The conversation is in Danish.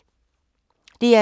DR2